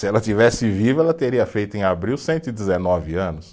Se ela estivesse viva, ela teria feito em abril cento e dezenove anos.